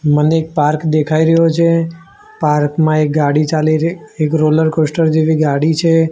મને એક પાર્ક દેખાય રહ્યો છે પાર્ક માં એક ગાડી ચાલી રહી એક રોલર કોસ્ટર જેવી ગાડી છે.